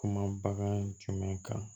Kuma bagan jumɛn kan